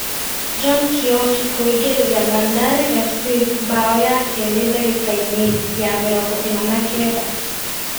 John Kĩoki kuingirĩria Bandari Fc mbao ya keri dagikaini ya mĩrongo ĩna na kenda.